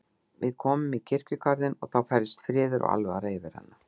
Við komum að kirkjugarðinum og þá færðist friður og alvara yfir hana.